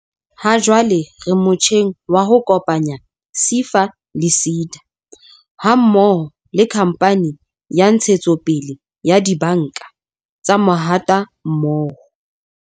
Hajwale re motjheng wa ho kopanya SEFA le SEDA ha mmoho le Khamphane ya Ntshetsopele ya Dibanka tsa Mahatammoho.